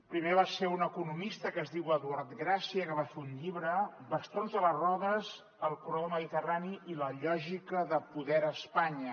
primer va ser un economista que es diu eduard gracia que va fer un llibre bastons a les rodes el corredor mediterrani i la lògica del poder a espanya